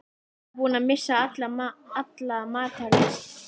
Hann var búinn að missa alla matar lyst.